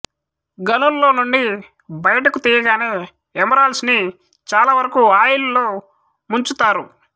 గనుల్లో నుండి బయటకు తీయగానే ఏమరాల్డ్స్ ని చాలా వరకు ఆయిల్ లో ముంచుతారు